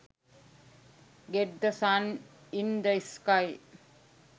get the sun in the sky